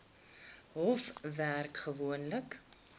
hof werk gewoonlik